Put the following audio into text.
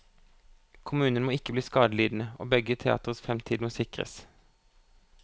Kommunen må ikke bli skadelidende, og begge teatres fremtid må sikres.